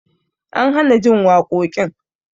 An hana jin waƙoƙin